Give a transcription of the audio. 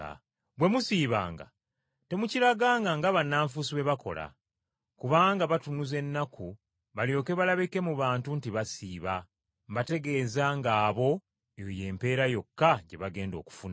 “Bwe musiibanga, temukiraganga nga bannanfuusi bwe bakola. Kubanga batunuza ennaku balyoke balabike mu bantu nti basiiba, mbategeeza ng’abo, eyo y’empeera yokka gye bagenda okufuna.